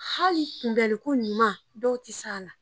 Hali kunbɛli ko ɲuman dɔw ti se a la.